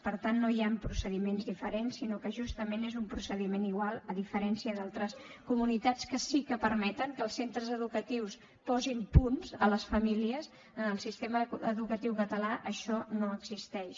per tant no hi han procediments diferents sinó que justament és un procediment igual a diferència d’altres comunitats que sí que permeten que els centres educatius posin punts a les famílies en el sistema educatiu català això no existeix